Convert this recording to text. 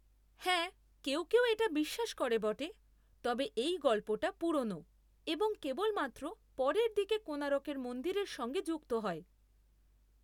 হ্যাঁ কেউ কেউ এটা বিশ্বাস করে বটে, তবে এই গল্পটা পুরোনো এবং কেবলমাত্র পরের দিকে কোণারকের মন্দিরের সঙ্গে যুক্ত হয়।